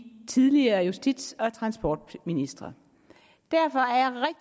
tidligere justits og transportministre derfor er